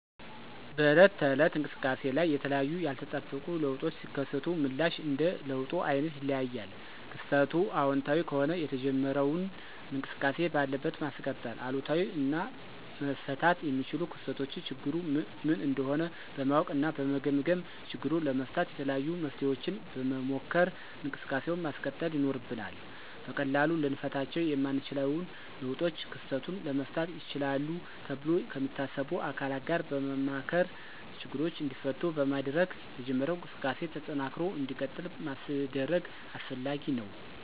በዕለት ተዕለት እንቅሰቃሴ ላይ የተለያዩ ያልተጠበቁ ለውጦች ሲከሰቱ ምላሽ እንደ ለውጡ አይነት ይለያያል። ክስተቱ አወንታዊ ከሆነ የተጀመረውን እንቅስቃሴ ባለበት ማስቀጠል፤ አሉታዊ እና መፈታት የሚችሉ ክስተቶችን ችግሩ ምን እንደሆነ በማወቅ እና በመገምገም ችግሩን ለመፍታት የተለያዩ መፍትሔዎችን በመሞከር እንቅሰቃሴውን ማስቀጠል ይኖርብናል። በቀላሉ ልንፈታቸው የማንችለውን ለውጦች ክስተቱን ለመፍታት ይችላሉ ተብሎ ከሚታሰቡ አካላት ጋር በማማከር ችግሮቹ እንዲፈቱ በማድረግ የተጀመረው እንቅስቃሴ ተጠናክሮ እንዲቀጥል ማስደረግ አስፈላጊ ነው።